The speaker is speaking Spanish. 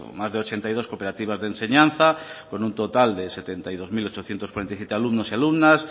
más de ochenta y dos cooperativas de enseñanza con un total de setenta y dos mil ochocientos cuarenta y siete alumnos y alumnas